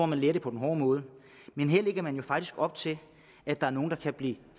man lære det på den hårde måde men her lægger man jo faktisk op til at der er nogle der kan blive